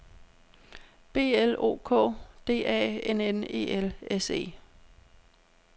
B L O K D A N N E L S E